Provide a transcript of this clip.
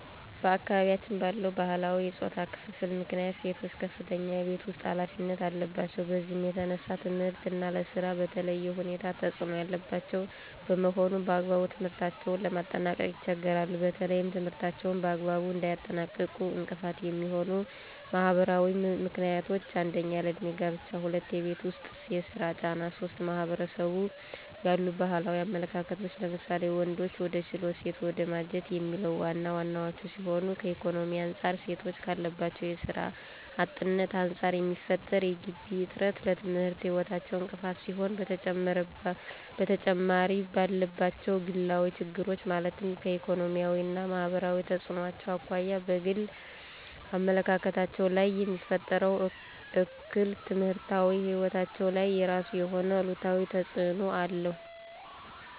በአካባቢያችን ባለው ባህላዊ የፆታ ክፍፍል ምክንያት ሴቶች ከፍተኛ የቤት ውስጥ ኃላፊነት አለባቸው። በዚህም የተነሳ ለትምህርት እና ለስራ በተለየ ሁኔታ ተፅዕኖ ያለባቸው በመሆኑ በአግባቡ ትምህርታቸውን ለማጠናቀቅ ይቸገራሉ። በተለይም ትምህርታቸውን በአግባቡ እንዳያጠናቅቁ እንቅፋት የሚሆኑ ማህበራዊ ምክንያቶች 1- ያለ እድሜ ጋብቻ 2- የቤት ውስጥ የስራ ጫና 3- በማህበረሰቡ ያሉ ባህላዊ አመለካከቶች ለምሳሌ:- ወንድ ወደ ችሎት ሴት ወደ ማጀት የሚሉት ዋና ዋናወቹ ሲሆኑ ከኢኮኖሚ አንፃር ሴቶች ካለባቸው የስራ አጥነት አንፃር የሚፈጠር የገቢ እጥረት ለትምህርት ህይወታቸው እንቅፋት ሲሆን በተጨማሪምባሉባቸው ግላዊ ችግሮች ማለትም ከኢኮኖሚያዊ እና ማህበራዊ ተፅዕኖዎች አኳያ በግል አመለካከታቸው ላይየሚፈጥረው እክል በትምህርታዊ ህይወታቸው ላይ የራሱ የሆነ አሉታዊ ተፅዕኖ አለው።